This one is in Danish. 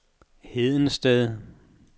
Hedensted